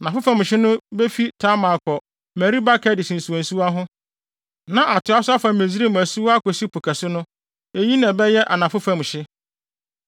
Anafo fam hye no befi Tamar akɔ Meriba Kades nsuwansuwa ho, na atoa so afa Misraim asuwa akosi Po Kɛse no. Eyi na ɛbɛyɛ anafo fam hye.